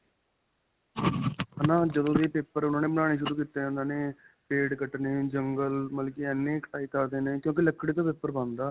ਹੈ ਨਾਂ. ਜਦੋਂ ਦੇ paper ਉਨ੍ਹਾਂ ਨੇ ਬਣਾਉਣੇ ਸ਼ੁਰੂ ਕੀਤੇ. ਉਨ੍ਹਾਂ ਨੇ ਪੇੜ ਕੱਟਣੇ, ਜੰਗਲ ਮਤਲਬ ਕੀ ਇੰਨੇ ਕਟਾਈ ਕਰਦੇ ਨੇ ਕਿਉਂਕਿ ਲਕੜੀ ਤੋਂ paper ਬਣਦਾ.